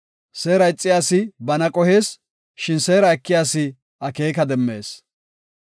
Seera ixiya asi bana qohees; shin seera ekiya asi akeeka demmees.